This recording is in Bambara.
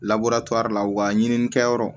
labure la wa ɲininnikɛyɔrɔ